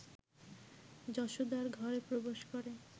যশোদার ঘরে প্রবেশ করে